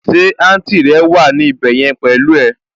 Ṣé àǹtì rẹ wà ní ibẹ̀ yẹn pẹ̀lú ẹ?